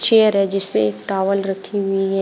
Chair है जिसपे towel रखी हुई है।